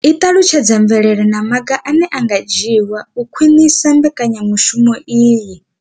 I ṱalutshedza mvelelo na maga ane a nga dzhiwa u khwinisa mbekanyamushumo iyi.